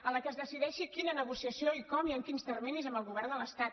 en la qual es decideixi quina negociació i com i en quins terminis amb el govern de l’estat